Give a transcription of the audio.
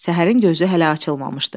Səhərin gözü hələ açılmamışdı.